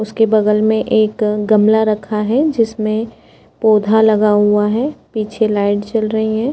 उसके बगल में एक गमला रखा है जिसमें पोधा लगा हुआ है पीछे लाइट जल रही हैं।